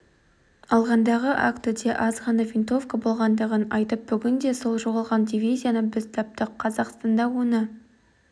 алғандағы актіде аз ғана винтовка болғандығын айтып бүгінде сол жоғалған дивизияны біз таптық қазақстанда оны